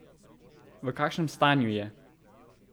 V kakšnem stanju je?